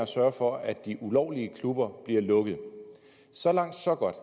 sørge for at de ulovlige klubber bliver lukket så langt så godt